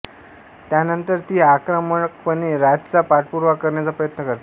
त्यानंतर ती आक्रमकपणे राजचा पाठपुरावा करण्याचा प्रयत्न करते